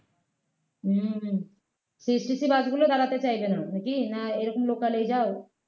হম CTC bus গুলো দাঁড়াতে চাইবে না নাকি না এরকম local এই যাও